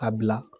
A bila